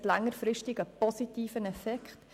Es hat längerfristig einen positiven Effekt.